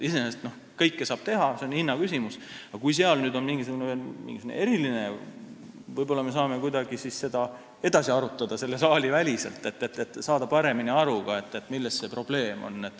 Iseenesest kõike saab teha, see on hinna küsimus, aga kui seal on veel mingisugune eriline nüanss, siis võib-olla me saame seda kuidagi edasi arutada selle saali väliselt, et saada paremini aru, milles see probleem on.